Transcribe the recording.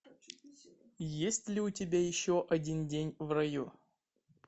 есть ли у тебя еще один день в раю